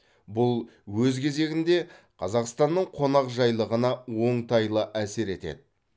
бұл өз кезегінде қазақстанның қонақжайлығына оңтайлы әсер етеді